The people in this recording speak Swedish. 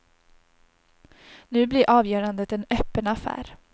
Nu blir avgörandet en öppen affär.